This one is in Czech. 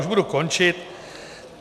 Už budu končit.